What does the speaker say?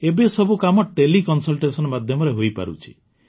ଏବେ ସବୁ କାମ ତେଲେ କନସଲଟେସନ ମାଧ୍ୟମରେ ହୋଇପାରୁଛି